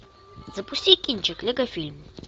запусти кинчик лего фильм